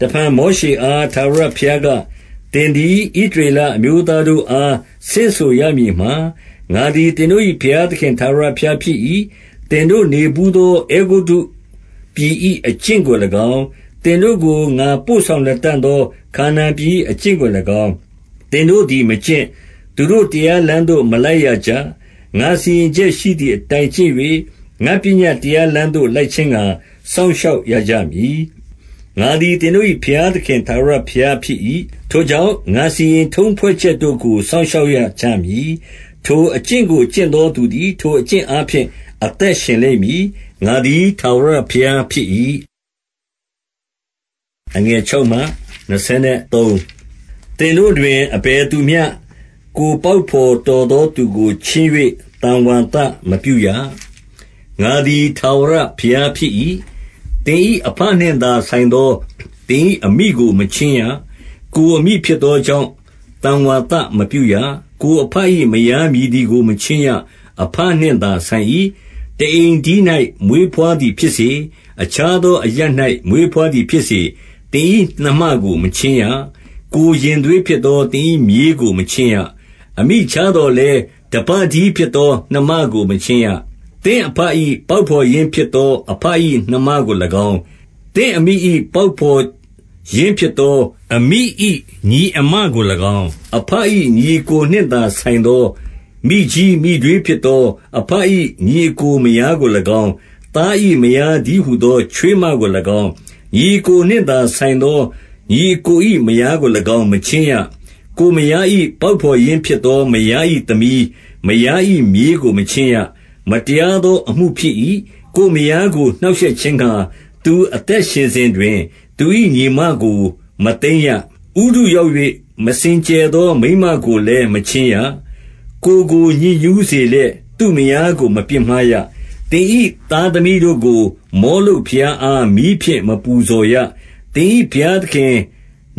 တဖန်မောရှေအား ထာဝရဘုရားက၊- 2 သင်သည် ဣသရေလအမျိုးသားတို့အား ဆင့်ဆိုရမည်မှာ၊ ငါသည် သင်တို့၏ ဘုရားသခင် ထာဝရဘုရား ဖြစ်၏။ 3 သင်တို့ နေဘူးသော အဲဂုတ္တုပြည်၏ အကျင့်ကို၎င်း၊ သင်တို့ကို ငါပို့ဆောင်လတံ့သော ခါနာန်ပြည်၏ အကျင့်ကို၎င်း၊ သင်တို့သည် မကျင့်၊ သူတို့ တရားလမ်းသို့ မလိုက်ရကြ။ 4 ငါစီရင်ချက်ရှိသည်အတိုင်း ကျင့်၍၊ ငါ့ပညတ်တရားလမ်းသို့ လိုက်ခြင်းငှါ စောင့်ရှောက်ရကြမည်။ ငါသည် သင်တို့၏ ဘုရားသခင် ထာဝရဘုရားဖြစ်၏။ 5 ထိုကြောင့် ငါ့စီရင်ထုံးဖွဲ့ချက်တို့ကို စောင့်ရှောက်ရကြမည်။ ထိုအကျင့်ကို ကျင့်သောသူသည် ထိုအကျင့်အားဖြင့် အသက်ရှင်လိမ့်မည်။ ငါသည် ထာဝရဘုရားဖြစ်၏။ 6 သင်တို့တွင် အဘယ်သူမျှ ကိုယ်ပေါက်ဘော်တော်သောသူကို ချဉ်း၍ သံဝါသမပြုရ။ ငါသည် ထာဝရဘုရားဖြစ်၏။ 7 သင်၏ အဘနှင့်သာဆိုင်သော သင်၏ အမိကို မချဉ်းရ။ ကိုယ်အမိ ဖြစ်သောကြောင့် သံဝါသမပြုရ။ 8 ကိုယ်အဘ၏ မယားမည်သည်ကို မချဉ်းရ။ အဘနှင့်သာဆိုင်၏။ 9 တအိမ်တည်း၌ မွေးဘွားသည်ဖြစ်စေ၊ အခြားသော အရပ်၌ မွေးဘွားသည်ဖြစ်စေ၊ သင်၏ နှမကို မချဉ်းရ။ 10 ကိုယ်ရင်သွေးဖြစ်သော သင်၏မြေးကို မချဉ်းရ။ 11 အမိခြားသော်လည်း တဘတည်းဖြစ်သော နှမကို မချဉ်းရ။ 12 သင့်အဘ၏ ပေါက်ဘော်ရင်းဖြစ်သော အဘ၏ နှမကို၎င်း၊ 13 သင့်အမိ၏ ပေါက်ဘော်ရင်းဖြစ်သော အမိ၏ ညီအစ်မကို၎င်း၊ 14 အဘ၏ ညီအစ်ကိုနှင့်သာဆိုင်သော မိကြီး မိထွေးဖြစ်သော အဘ၏ ညီအစ်ကို မယားကို၎င်း၊ 15 သား၏မယားတည်းဟူသော ချွေးမကို၎င်း၊ 16 ညီအစ်ကိုနှင့်သာဆိုင်သော ညီအစ်ကို၏ မယားကို၎င်း၊ မချဉ်းရ။ 17 ကိုယ်မယား၏ ပေါက်ဘော်ရင်းဖြစ်သော မယား၏သမီး၊ မယား၏ မြေးကို မချဉ်းရ။ မတရားသောအမှုဖြစ်၏။ 18 ကိုယ်မယားကို နှောင့်ရှက်ခြင်းငှါ သူအသက်ရှင်စဉ်တွင် သူ၏ ညီအစ်မကို မသိမ်းရ။ 19 ဥတုရောက်၍ မစင်ကြယ်သော မိန်းမကိုလည်း မချဉ်းရ။ 20 ကိုယ်ကို ညစ်ညူးစေလျက်၊ သူ့မယားကို မပြစ်မှားရ။ 21 သင်၏ သားသမီးတို့ကို၊ မောလုတ်ဘုရားအား မီးဖြင့် ပူဇော်ရ။ သင်၏ ဘုရားသခင်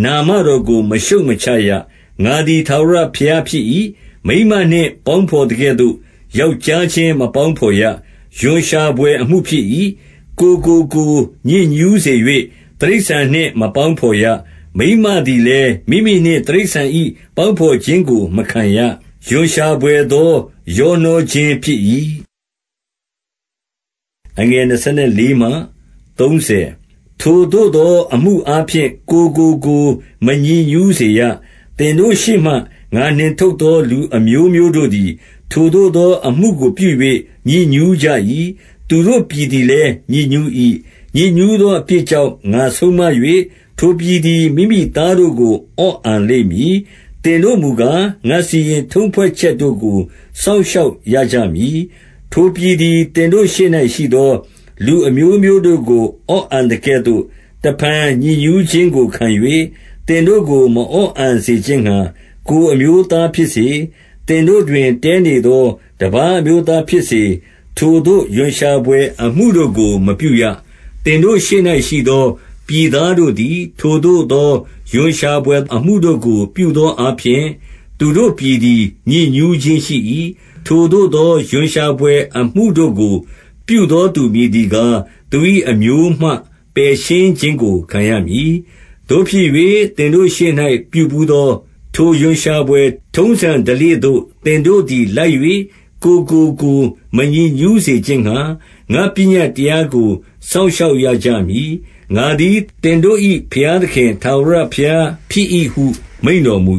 နာမတော်ကို မရှုတ်မချရ။ ငါသည် ထာဝရဘုရားဖြစ်၏။ 22 မိန်းမနှင့် ပေါင်းဘော်သကဲ့သို့ ယောက်ျားချင်း မပေါင်းဘော်ရ။ ရွံရှာဘွယ်အမှုဖြစ်၏။ 23 ကိုယ့်ကိုကိုယ် ညစ်ညူးစေ၍ တိရစ္ဆာန်နှင့်မပေါင်းဘော်ရ။ မိန်းမသည်လည်း မိမိနှင့် တိရစ္ဆာန်၏ ပေါင်းဘော်ခြင်းကို မခံရ။ ရွံရှာဘွယ်သော ရောနှောခြင်းဖြစ်၏။ 24 ထိုသို့သော အမှုအားဖြင့် ကိုယ်ကို ကိုယ် မညစ်ညူးစေရ။ သင်တို့ရှေ့မှာ ငါနှင်ထုတ်သော လူအမျိုး မျိုးတို့သည်၊ ထိုသို့သောအမှုကို ပြု၍ ညစ်ညူးကြ၏။ 25 သူတို့ ပြည်သည်လည်း ညစ်ညူး၏။ ညစ်ညူးသော အပြစ်ကြောင့် ငါဆုံးမ၍၊ ထိုပြည်သည် မိမိ သားတို့ကို အော့အန်လိမ့်မည်။ 26 သင်တို့မူကား၊ ငါ့စီရင်ထုံးဖွဲ့ချက်တို့ကို စောင့်ရှောက်ရကြမည်။ ထိုပြည်သည် သင်တို့ရှေ့၌ရှိသော လူအမျိုးမျိုးတို့ကို အော့အန်သကဲ့သို့ တဖန် ညစ်ညူးခြင်းကိုခံ၍၊ သင်တို့ကို မအော့အန်စေခြင်းငှါ၊ ကိုယ်အမျိုးသားဖြစ်စေ၊ 27 သင်တို့တွင် တည်းနေသော တပါးအမျိုးသားဖြစ်စေ၊ ထိုသို့သော ရွံ့ရှာဘွယ် အမှုတို့ကို မပြုရ။ 28 သင်တို့ရှေ့၌ရှိသော ပြည်သားတို့သည် ထိုသို့သော ရွံ့ရှာဘွယ်အမှုတို့ကို ပြုသော အားဖြင့် သူတို့ပြည်သည် ညစ်ညူးခြင်းရှိ၏။ 29 ထိုသို့သော ရွံ့ရှာဘွယ်အမှုတို့ကို ပြုသောသူ မည်သည်ကား၊ သူ၏အမျိုးမှ ပယ်ရှင်းခြင်း ခံရမည်။ 30 သို့ဖြစ်၍ သင်တို့ရှေ့၌ ပြူဘူးသော ထိုရွံ့ရှာဘွယ် ထုံးစံဓလေ့သို့ သင်တို့သည် လိုက်၍၊ ကိုယ့်ကိုကိုယ် မညစ်ညူးစေခြင်းငှါ၊ ငါ့ပညတ်တရားကို စောင့်ရှောက်ရကြမည်။ ငါသည် သင်တို့၏ ဘုရားသခင် ထာဝရဘုရားဖြစ်၏ဟု မိန့်တော်မူ